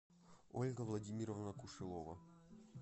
ольга владимировна кушелова